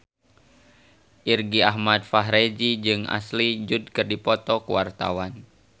Irgi Ahmad Fahrezi jeung Ashley Judd keur dipoto ku wartawan